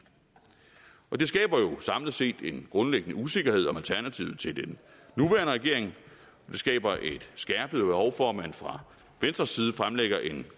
og det skaber jo samlet set en grundlæggende usikkerhed om alternativet til den nuværende regering det skaber et skærpet behov for at man fra venstres side fremlægger en